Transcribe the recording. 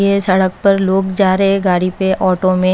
ये सड़क पर लोग जा रहे गाड़ी पे ऑटो में।